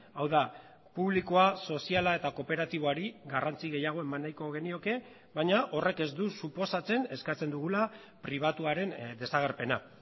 hau da publikoa soziala eta kooperatiboari garrantzi gehiago eman nahiko genioke baina horrek ez du suposatzen eskatzen dugula pribatuaren desagerpena